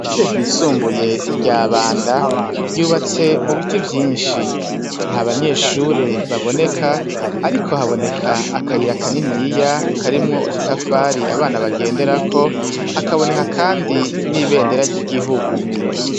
Ishure ryisumbuye rya Banda, ryubatse mu biti vyinshi. Nta banyeshure baboneka ariko haboneka akayira kaniniya karimwo udutafari abana bagenderako, hakaboneka kandi n'ibendera ry'igihugu.